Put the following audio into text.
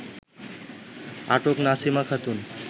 আটক নাসিমা খাতুন